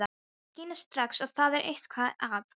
Hún skynjar strax að það er eitthvað að.